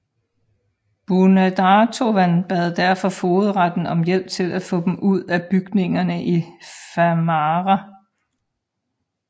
Búnaðarstovan bad derfor fogedretten om hjælp til at få dem ud af bygningerne i Fámará